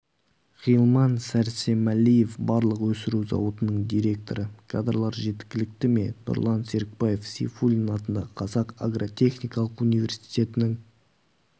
ғилман сәрсемәлиев балық өсіру зауытының директоры кадрлар жеткілікті ме нұрлан серікбаев сейфуллин атындағы қазақ агротехникалық университетінің